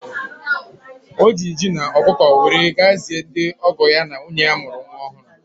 Ọ ji ji na ọkụkọ were ga-zie ndị ọgọ ya na nwunye ya mụrụ nwa.